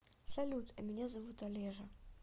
салют а меня зовут олежа